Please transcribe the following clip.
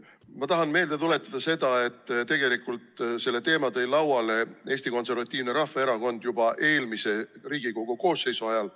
Ma tahan meelde tuletada seda, et tegelikult selle teema tõi lauale Eesti Konservatiivne Rahvaerakond juba eelmise Riigikogu koosseisu ajal.